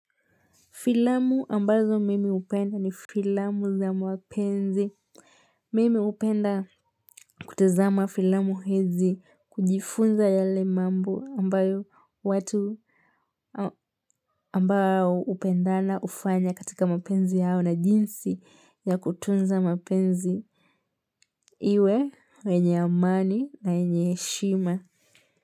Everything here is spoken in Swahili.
Filamu ambazo mimi hupenda ni filamu za mapenzi. Mimi hupenda kutizama filamu hizi, kujifunza yale ambayo watu ambao hupendana hufanya katika mapenzi yao na jinsi ya kutunza mapenzi. Iwe wenye amani na yenye heshima.